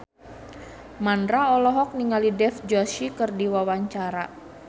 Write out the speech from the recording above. Mandra olohok ningali Dev Joshi keur diwawancara